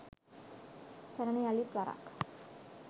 සරණ යලිත් වරක්